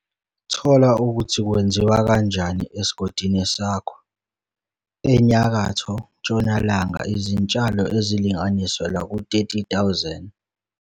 Thola ukuthi kwenziwa kanjani esigodini sakho. ENyakatho Ntshonalanga izintshalo ezilinganiselwa ku-30 000 i-ha.